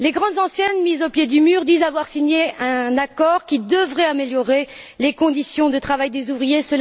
Les grandes enseignes, mises au pied du mur, disent avoir signé un accord qui devrait améliorer les conditions de travail des ouvriers.